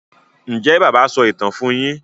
Njé bàbá so ìtàn fún yín?